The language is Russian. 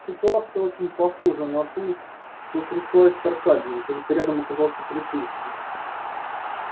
ситуация очень похожая на ту что стряслась с аркадием только рядом оказался полицейский